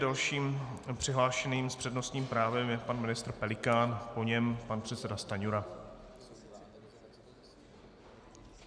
Dalším přihlášeným s přednostním právem je pan ministr Pelikán, po něm pan předseda Stanjura.